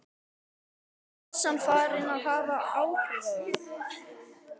Er pressan farin að hafa áhrif á þá?